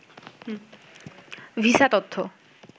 visa তথ্য